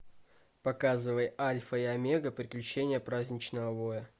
показывай альфа и омега приключения праздничного воя